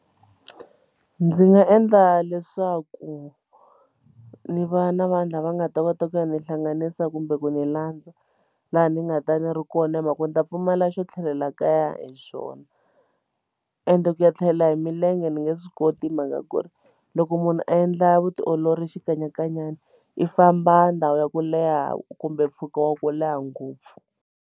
Ndzi nga endla leswaku ndzi va na vanhu lava nga ta kota ku ya ni hlanganisa kumbe ku ni landza laha ni nga ta ni ri kona hi mhaka ku ni ta pfumala xo tlhelela kaya hi swona ende ku ya tlhela hi milenge ni nge swi koti hi mhaka ku ri loko munhu a endla vutiolori xikanyakanyeni i famba ndhawu ya ku leha kumbe mpfhuka wa ku leha ngopfu.